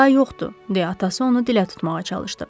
O daha yoxdur, deyə atası onu dilə tutmağa çalışdı.